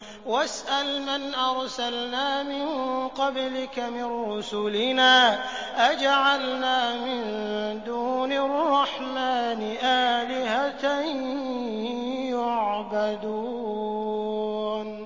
وَاسْأَلْ مَنْ أَرْسَلْنَا مِن قَبْلِكَ مِن رُّسُلِنَا أَجَعَلْنَا مِن دُونِ الرَّحْمَٰنِ آلِهَةً يُعْبَدُونَ